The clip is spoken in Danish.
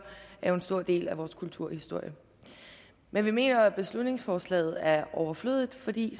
er jo en stor del af vores kulturhistorie men vi mener at beslutningsforslaget er overflødigt fordi